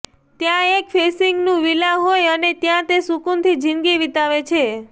ત્યાં એક સી ફેસિંગનું વિલા હોય અને ત્યાં તે સુકુન થી જીંદગી વિતાવે